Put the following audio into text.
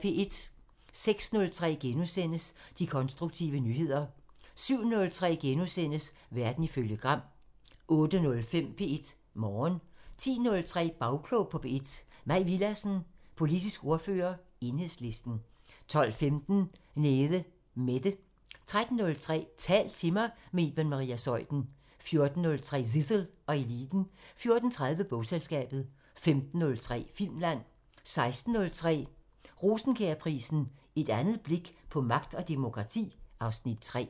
06:03: De konstruktive nyheder * 07:03: Verden ifølge Gram * 08:05: P1 Morgen 10:03: Bagklog på P1: Mai Villadsen, politisk ordfører, Enhedslisten 12:15: Nede Mette 13:03: Tal til mig – med Iben Maria Zeuthen 14:03: Zissel og Eliten 14:30: Bogselskabet 15:03: Filmland 16:03: Rosenkjærprisen: Et andet blik på magt og demokrati (Afs. 3)